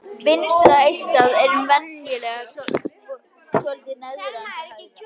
Vinstra eistað er venjulega svolítið neðar en það hægra.